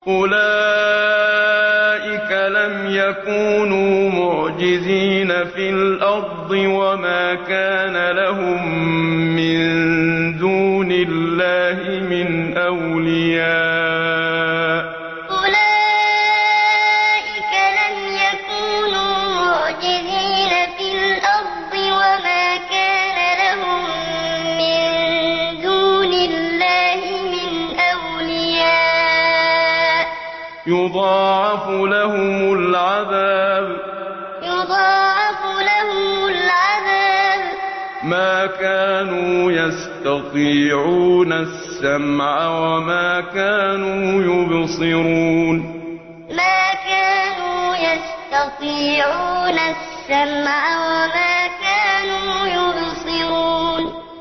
أُولَٰئِكَ لَمْ يَكُونُوا مُعْجِزِينَ فِي الْأَرْضِ وَمَا كَانَ لَهُم مِّن دُونِ اللَّهِ مِنْ أَوْلِيَاءَ ۘ يُضَاعَفُ لَهُمُ الْعَذَابُ ۚ مَا كَانُوا يَسْتَطِيعُونَ السَّمْعَ وَمَا كَانُوا يُبْصِرُونَ أُولَٰئِكَ لَمْ يَكُونُوا مُعْجِزِينَ فِي الْأَرْضِ وَمَا كَانَ لَهُم مِّن دُونِ اللَّهِ مِنْ أَوْلِيَاءَ ۘ يُضَاعَفُ لَهُمُ الْعَذَابُ ۚ مَا كَانُوا يَسْتَطِيعُونَ السَّمْعَ وَمَا كَانُوا يُبْصِرُونَ